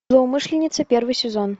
злоумышленница первый сезон